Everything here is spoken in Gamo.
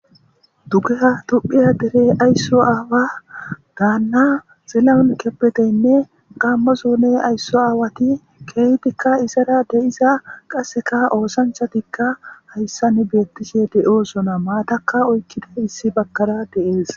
Dugeha tophiya deere ayso aawa dana xilahon kebedeynne gamo zone ayso aawati keehidika izara de'iza qaseka oosanchatika haysan beetishe de'osona. Maataka oykiday issi bagara de'es.